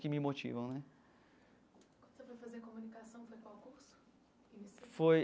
Que me motivam né. Quando você foi fazer comunicação, foi qual o curso? Foi.